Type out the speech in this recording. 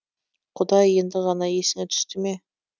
құдай енді ғана есіңе түсті ме